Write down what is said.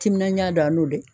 Timinanja dan n'o dɛ